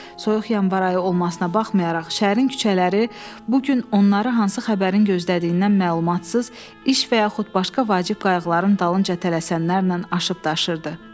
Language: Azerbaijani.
Soyuq yanvar ayı olmasına baxmayaraq, şəhərin küçələri bu gün onları hansı xəbərin gözlədiyindən məlumatsız, iş və yaxud başqa vacib qayğıların dalınca tələsənlərlə aşıb-daşırdı.